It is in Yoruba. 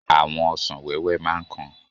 Àwọn ọsàn wẹ́wẹ́ máa ń kan.